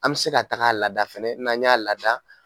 An bɛ se ka taga a ladada fana n'an y'a lada